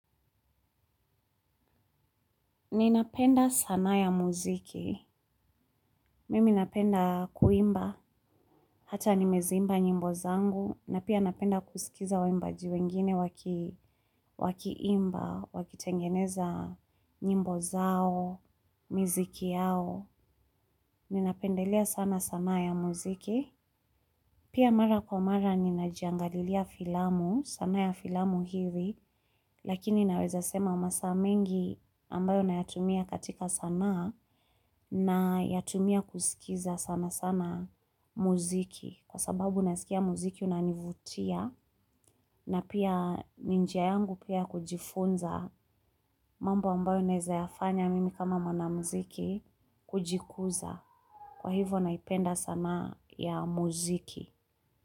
Ninapenda sanaa ya muziki. Mimi napenda kuimba, hata nimeziimba nyimbo zangu, na pia napenda kusikiza waimbaji wengine wakiimba, wakitengeneza nyimbo zao, miziki yao. Ninapendelea sana sanaa ya muziki. Pia mara kwa mara ninajiangalilia filamu, sanaa ya filamu hivi, lakini naweza sema masaa mengi ambayo na yatumia katika sanaa nayatumia kusikiza sana sana muziki. Kwa sababu nasikia muziki unanivutia na pia ni njia yangu pia kujifunza mambo ambayo naeza yafanya mimi kama mwana muziki kujikuza. Kwa hivyo naipenda sana ya muziki.